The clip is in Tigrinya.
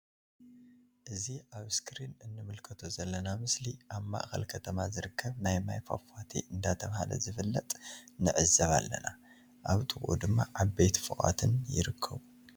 እዚ ኣብ እስክሪን እንምልከቶ ዘለና ምስሊ ኣብ ማእከል ከተማ ዝርከብ ናይ ማይ ፋፋቲ ዳተብሃለ ዝፍለጥ ንዕዘብ ኣለና። ኣብ ጥቅኡ ድማ ዓበይቲ ፎቃትን ይርከቡ።